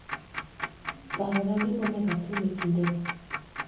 parona gima onego atim e kindego